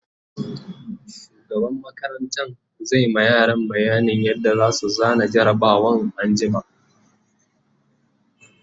shugaban makarantan zai ma yara bayanin yadda zasu zana jarabawan anjima